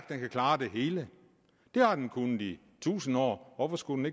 den kan klare det hele det har den kunnet i tusinde år hvorfor skulle